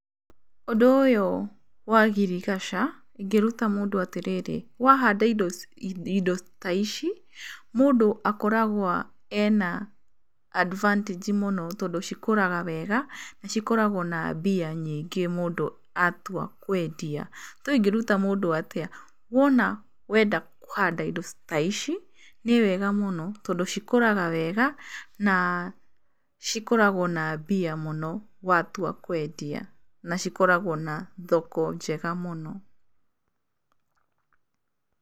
Ũndũ ũyũ wa agriculture ingĩruta mũndũ atĩrĩrĩ, wahanda indo ta ici mũndũ akoragwa e na advantage mũno tondũ cikũraga wega na cikoragũo na mbia nyingĩ mũndũ atua kwendia. Though ingĩruta mũndũ atĩa, wona wenda kũhanda indo ta ici nĩ wega mũno tondũ cikũraga wega na cikoragũo na mbia mũno watua kwendia na cikoragũo na thoko njega mũno.